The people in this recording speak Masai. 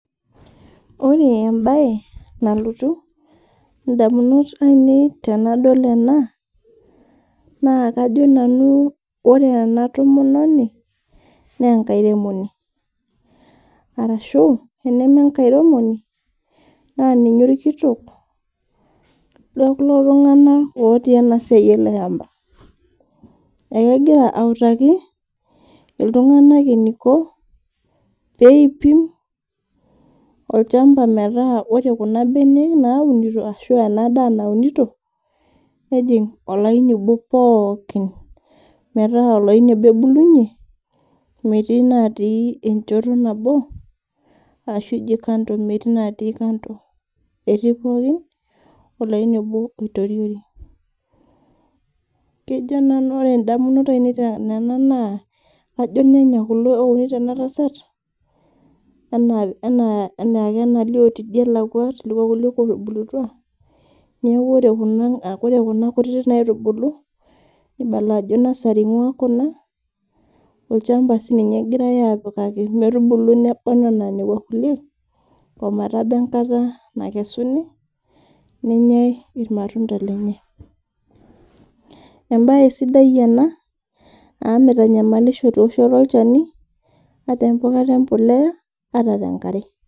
Ore embae nalotu ndamunot ainei tenadol ena naa kajo ore ena tomononi, naa enakairemoni naa tenemetii enakairemoni naa ninye orkitok lekulo tunganak otii ena siai ele shampa. Ekegira autaki iltunganak eniko peipim olchamapa metaa ore Kuna benek naunito ashua ena daa naunito ,nejing olaini obo pookin. Metaa olaini obo ebulunye metaa metii natii enchoto nabo orashu kando metii natii kando, etii pookin olaini obo oitoriori. Ore toondamunot ainei kajo irnyanya kulo ounito ena tasat, enaake enalio tidie nelakwa telekua kulie ootubulutua ,neeku ore Kuna kutitik nagira aitubulu meibala ajo nursery eingua Kuna, olchampa siininye egoirae apikaki metubulu nebayu ena nekwa kulie, ometaba enkata nakesuni nenyae irmatunda lenye. Ebae sidai ena amu mitanyamalisho eoshoto olchani, ata empikata embolea ata tenkare.